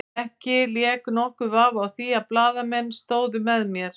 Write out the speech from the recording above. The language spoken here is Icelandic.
Ekki lék nokkur vafi á því að blaðamenn stóðu með mér.